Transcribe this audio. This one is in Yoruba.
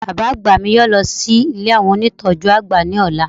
Bàbá àgbà mi yóò lọ sí ilé àwọn ónìtọ́jú àgbà ni ola